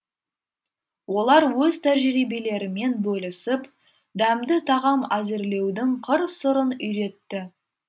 олар өз тәжірибелерімен бөлісіп дәмді тағам әзірлеудің қыр сырын үйретті